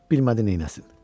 Bilmədi neyləsin.